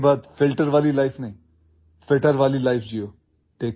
آج کے بعد فلٹر لائف نہ جئیں، فتر لائف جئیں